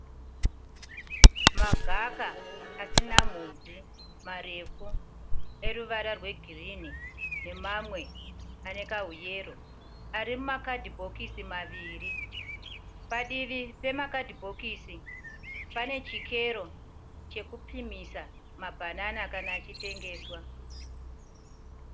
Magaka asina mhodzi marefu eruvara rwegirinhi nemamwe ane kahuyero. Ari mukadhibhokisi maviri. Padivi pemakadhibhokisi pane chikero chokupimisa mabhanana kana achitengeswa.